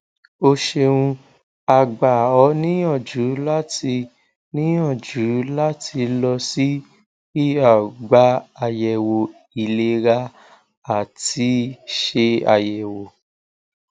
o ṣeuna gba ọ niyanju lati niyanju lati lọ si er gba ayẹwo ilera ati ṣe ayẹwo